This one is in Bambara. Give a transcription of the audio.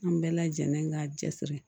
An bɛɛ lajɛlen k'a cɛsiri